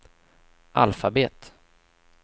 alfabet